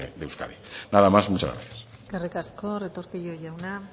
de euskadi nada más muchas gracias eskerrik asko retortillo jauna